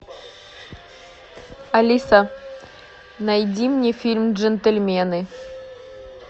алиса найди мне фильм джентльмены